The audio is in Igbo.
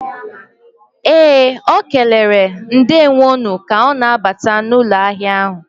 Ee, ọ kelere "ndeewo nu o ka ọ na-abata n'ụlọ ahịa ahụ."